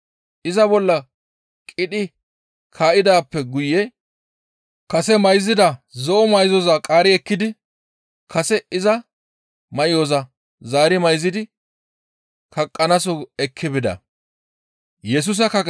Iza bolla qidhi kaa7idaappe guye kase mayzida zo7o may7oza qaari ekkidi kase iza may7oza zaari mayzidi kaqqanaaso ekki bida.